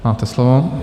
Máte slovo.